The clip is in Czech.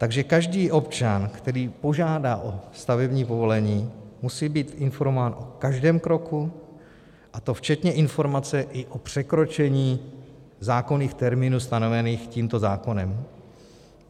Takže každý občan, který požádá o stavební povolení, musí být informován o každém kroku, a to včetně informace i o překročení zákonných termínů stanovených tímto zákonem.